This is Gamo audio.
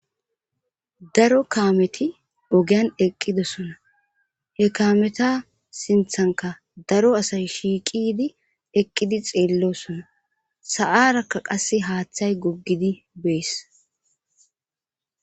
daro kaameti ogiyan eqqidosona he kaameta sinthankka daro asay shiiqidi eqqidi xeelloosona sa7aarakka qassi haathay goggidi bees.